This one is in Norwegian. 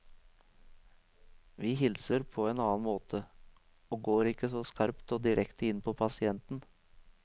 Vi hilser på en annen måte, og går ikke så skarpt og direkte inn på pasienten.